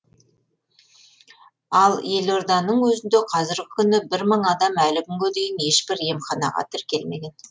ал елорданың өзінде қазіргі күні бір мың адам әлі күнге дейін ешбір емханаға тіркелмеген